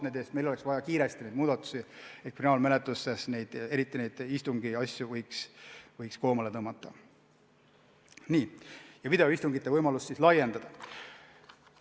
Meil on neid muudatusi vaja kiiresti, et saaksime kriminaalmenetlustes istungitoiminguid koomale tõmmata ja videoistungite võimalust laiendada.